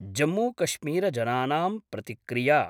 जम्मूकश्मीरजनानां प्रतिक्रिया